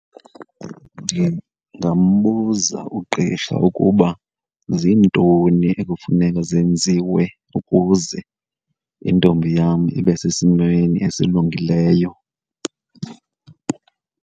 Ndingambuza ugqirha ukuba zintoni ekufuneka zenziwe ukuze intombi yam ibe sesimweni esilungileyo.